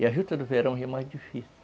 E a juta do verão já é mais difícil.